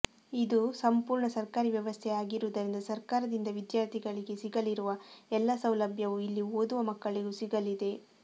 ಇದು ಸಂಪೂರ್ಣ ಸರ್ಕಾರಿ ವ್ಯವಸ್ಥೆಯೇ ಆಗಿರುವುದರಿಂದ ಸರ್ಕಾರದಿಂದ ವಿದ್ಯಾರ್ಥಿಗಳಿಗೆ ಸಿಗಲಿರುವ ಎಲ್ಲ ಸೌಲಭ್ಯವೂ ಇಲ್ಲಿ ಓದುವ ಮಕ್ಕಳಿಗೂ ಸಿಗಲಿದೆ